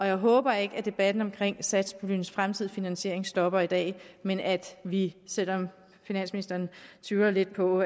jeg håber ikke at debatten om satspuljens fremtidige finansiering stopper i dag men at vi selv om finansministeren tygger lidt på